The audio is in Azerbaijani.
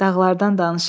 Dağlardan danışırdı.